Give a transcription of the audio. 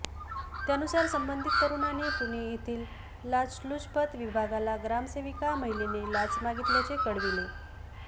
त्यानुसार संबंधित तरुणाने पुणे येथील लाचलुचपत विभागाला ग्रामसेविका महिलेने लाच मागितल्याचे कळविले